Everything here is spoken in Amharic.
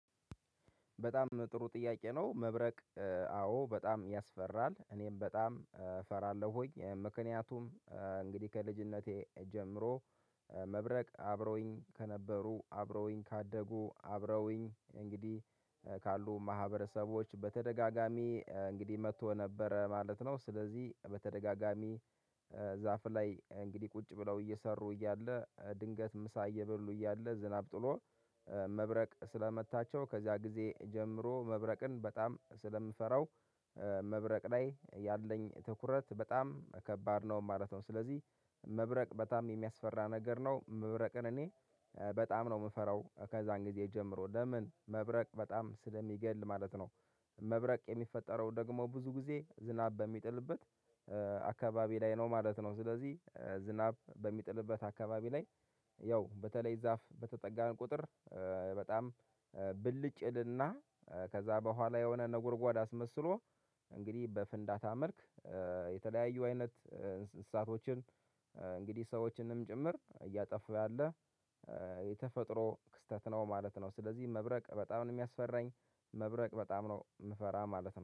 በጣም ጥሩ ጥያቄ ነው? መብረቅ አዎ በጣም ያስፈራል እኔም በጣም እፈራለሁ ሆኝ ምክንያቱም። እንግዲህ ከልጅነቴ ጀምሮ መብረቅ አብረውኝ ከነበሩ አብረውኝ ካደጉ አብረውኝ እንግዲህ ካሉ ማህበረሰቦች በተደጋጋሚ እንግዲህ መጥቶ ነበረ ማለት ነው። ስለዚህ በተደጋጋሚ ዛፍ ላይ እንግዲህ ቁጭ ብለው እየሰሩ እያለ ድንገት ምሳ እየበሉ እያለ ዝናብ ጥሎ መብረቅ ስለመታቸው ከዚያ ጊዜ ጀምሮ መብረቅን በጣም ስለምፈራው። መብረቅ ላይ ያለኝ ትኩረት በጣም ከባድ ነው ማለት ነው። ስለዚህ መብረቅ በጣም የሚያስፈራ ነገር ነው። መብረቅን እኔ በጣም ነው የምፈራው ከዛን ጊዜ ጀምሮ ለምን? መብረቅ በጣም ስለሚገል ማለት ነው። መብረቅ የሚፈጠረው ደግሞ ብዙ ጊዜ ዝናብ በሚጥልበት አካባቢ ላይ ነው ማለት ነው። ስለዚህ ዝናብ በሚጥልበት አካባቢ ላይ ያው በተለይ ዛፍ በተጠጋን ቁጥር። በጣም ብልጭ እልና ከዛ በኋላ የሆነ ነጎርጓድ አስመስሎ እንግዲህ በፍንዳታ መልክ የተለያዩ አይነት እሳቶችን እንግዲህ ሰዎችንም ጭምር እያጠፉ ያለ የተፈጥሮ ክስተት ነው ማለት ነው። ስለዚህ መብረቅ በጣም ነው የሚያስፈራኝ መብረቅ በጣም ነው የምፈራ ማለት ነው